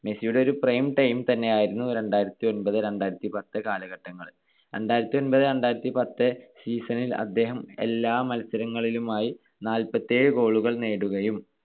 മെസ്സിയുടെ ഒരു prime time തന്നെയായിരുന്നു രണ്ടായിരത്തിഒൻപത് - രണ്ടായിരത്തിപത്ത് കാലഘട്ടങ്ങൾ. രണ്ടായിരത്തിഒൻപത് - രണ്ടായിരത്തിപത്ത് season ൽ അദ്ദേഹം എല്ലാ മത്സരങ്ങളിലുമായി നാല്പത്തിയേഴ് goal കൾ നേടുകയും,